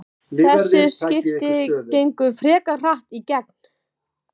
Þessi skipti gengu frekar hratt í gegn.